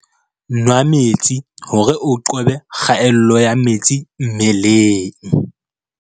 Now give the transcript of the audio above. Nwaa metsi hore o qobe kgaello ya metsi mmeleng.